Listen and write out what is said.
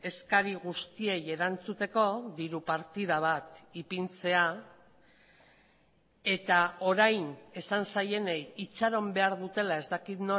eskari guztiei erantzuteko diru partida bat ipintzea eta orain esan zaienei itxaron behar dutela ez dakit